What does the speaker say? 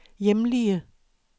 hjemlige